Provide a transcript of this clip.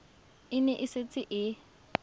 e ne e setse e